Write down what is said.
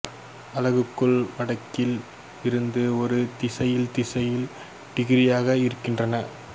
அலகுகள் வடக்கில் இருந்து ஒரு திசையில் திசையில் டிகிரிகளாக இருக்கின்றன